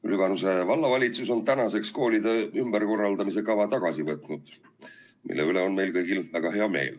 Lüganuse Vallavalitsus on nüüdseks koolide ümberkorraldamise kava tagasi võtnud ja selle üle on meil kõigil väga hea meel.